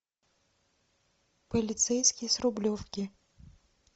полицейский с рублевки